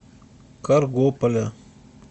каргополя